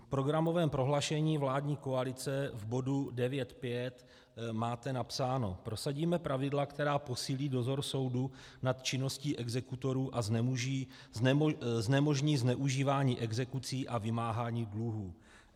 V programovém prohlášení vládní koalice v bodu 9.5. máte napsáno: Prosadíme pravidla, která posílí dozor soudu nad činností exekutorů a znemožní zneužívání exekucí a vymáhání dluhů.